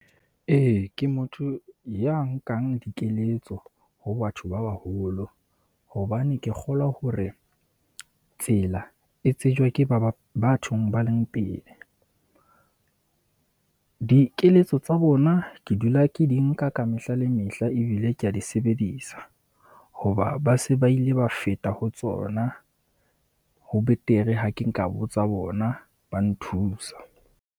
E, ke motho ya nkang dikeletso ho batho ba baholo, hobane ke kgolwa hore tsela e tsejwa ke ba ba bathong ba leng pele. Dikeletso tsa bona ke dula ke di nka ka mehla le mehla ebile ke a di sebedisa, hoba ba se ba ile ba feta ho tsona. Ho betere ha ke nka botsa bona ba nthusa.